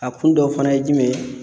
A kun dɔ fana ye jumɛn ye?